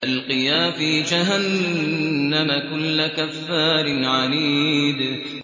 أَلْقِيَا فِي جَهَنَّمَ كُلَّ كَفَّارٍ عَنِيدٍ